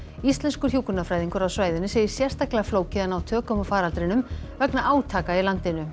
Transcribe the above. íslenskur hjúkrunarfræðingur á svæðinu segir sérstaklega flókið að ná tökum á faraldrinum vegna átaka í landinu